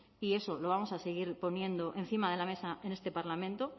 y eso lo vamos a seguir poniendo encima de la mesa en este parlamento